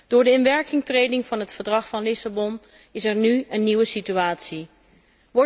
Door de inwerkingtreding van het Verdrag van Lissabon is er nu een nieuwe situatie ontstaan.